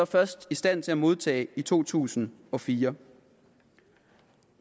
først i stand til at modtage i to tusind og fire